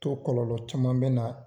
To kɔlɔlɔ caman bɛ na,